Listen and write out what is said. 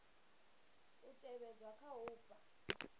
u tevhedzwa kha u fha